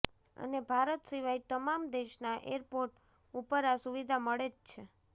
અને ભારત સિવાય તમામ દેશના એરપોર્ટ ઉપર આ સુવિધા મળે જ છે